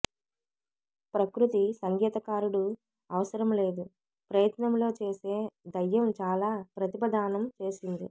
ప్రకృతి సంగీతకారుడు అవసరం లేదు ప్రయత్నంలో చేసే దయ్యం చాలా ప్రతిభ దానం చేసింది